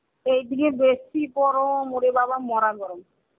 এইদিকে বেশী গরম ওরে বাবা মড়া গরম.